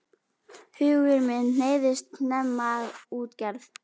Hugur minn hneigðist snemma að útgerð.